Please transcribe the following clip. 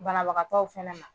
Banabagakaw fana na